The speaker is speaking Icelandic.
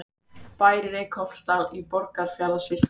Bær í Reykholtsdal í Borgarfjarðarsýslu.